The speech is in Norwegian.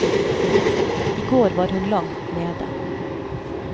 I går var hun langt nede.